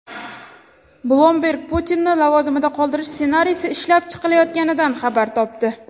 Bloomberg Putinni lavozimida qoldirish ssenariysi ishlab chiqilayotganidan xabar topdi.